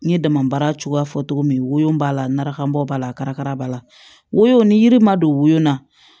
N ye dama baara cogoya fɔ cogo min wo b'a lakanbɔ b'a la karaka b'a la wo ni yiri ma don wo na